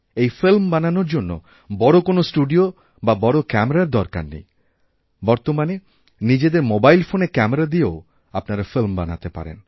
এই ফিল্ম বানানোর জন্য বড়ো কোনওস্টুডিও বা বড় ক্যামেরার দরকার নেই বর্তমানে নিজেদের মোবাইল ফোনের ক্যামেরা দিয়েওআপনারা ফিল্ম বানাতে পারেন